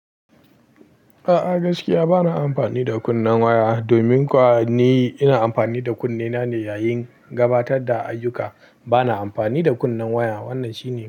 A'a gaskiya bana amfani da kunnen waya. Domin kuwa ni ina amfani da kunnen na ne yayin gabatar da ayyuka. Bana amfani da kunnen waya. Wannan shine.